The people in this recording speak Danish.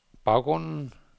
baggrunden